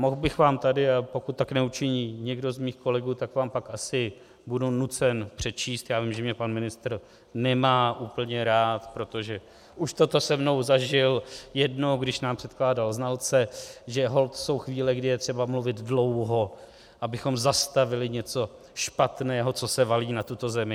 Mohl bych vám tady, pokud tak neučiní někdo z mých kolegů, tak vám pak asi budu nucen přečíst - já vím, že mě pan ministr nemá úplně rád, protože už toto se mnou zažil jednou, když nám předkládal znalce, že holt jsou chvíle, kdy je třeba mluvit dlouho, abychom zastavili něco špatného, co se valí na tuto zemi.